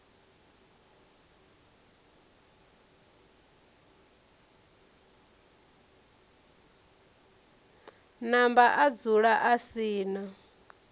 namba adzula a si na